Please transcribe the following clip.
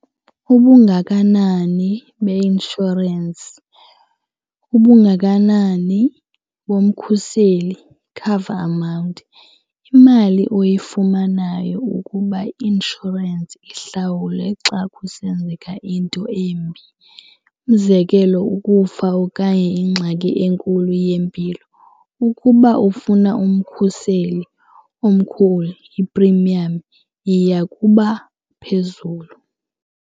Kubungakanani beinshorensi kubungakanani bomkhuseli, cover amount, imali oyifumanayo ukuba i-inshorensi ihlawule xa kusenzeka into embi umzekelo ukufa okanye ingxaki enkulu yempilo. Ukuba ufuna umkhuseli omkhulu, iprimiyamu, yiya kubaphezulu.